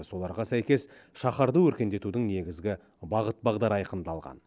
соларға сәйкес шаһарды өркендетудің негізгі бағыт бағдары айқындалған